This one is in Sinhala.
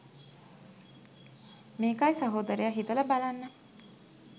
මේකයි සහෝදරයා හිතල බලන්න